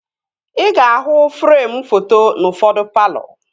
Ị ga-ahụ freem foto n'ufodu palọ